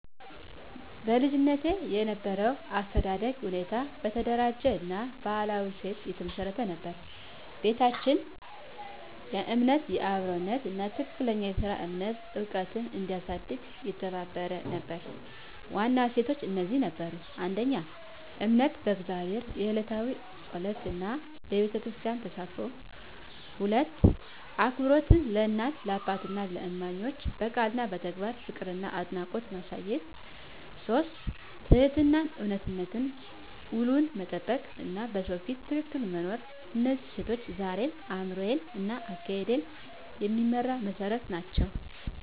በልጅነቴ የነበረው የአስተዳደግ ሁኔታ በተደራጀ እና በባህላዊ እሴቶች የተመሰረተ ነበር። ቤታችን የእምነት፣ የአክብሮት እና የትክክለኛ ሥራ እምነት ዕውቀት እንዲያሳድግ የተባበረ ነበር። ዋና እሴቶች እነዚህ ነበሩ: 1. እምነት በእግዚአብሔር፣ የዕለታዊ ጸሎት እና በቤተክርስቲያን ተሳትፎ። 2. አክብሮት ለእናት፣ ለአባትና ለእማኞች፣ በቃል እና በተግባር ፍቅርና አድናቆት ማሳየት። 3. ትህትናና እውነተኝነት፣ ውሉን መጠበቅ እና በሰው ፊት ትክክል መኖር። እነዚህ እሴቶች ዛሬም አእምሮዬን እና አካሄዴን የሚመራ መሠረት ናቸው።